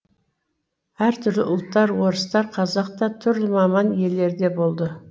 әртүрлі ұлттар орыстар қазақ та түрлі маман иелері де болды